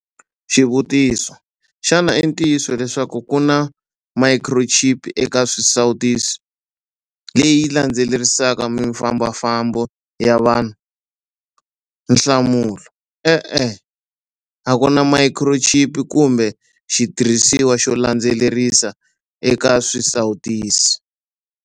Xivutiso- Xana i ntiyiso leswaku ku na mayikhirochipi eka swisawutisi, leyi landzelerisaka mifambafambo ya vanhu? Nhlamulo- E-e. A ku na mayikhirochipi kumbe xitirhisiwa xo landzelerisa eka swisawutisi.